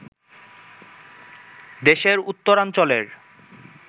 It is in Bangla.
দেশের উত্তরাঞ্চলের